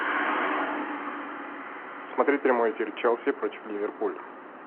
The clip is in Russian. смотреть прямой эфир челси против ливерпуль